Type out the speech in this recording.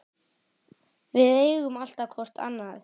Við eigum alltaf hvort annað.